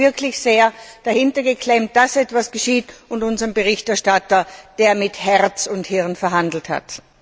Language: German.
Sie hat sich wirklich sehr dahintergeklemmt, dass etwas geschieht, und ich danke unserem Berichterstatter, der mit Herz und Hirn verhandelt hat.